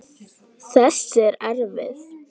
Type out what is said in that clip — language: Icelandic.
Þessi er erfið.